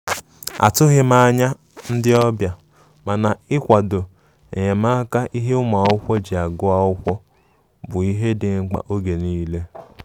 A tụghi m anya ndi ọbia, Mana ikwado enyemaka ihe ụmụakwụkwọ ji agụ akwụkwọ bu ihe di mkpa mgbe niile.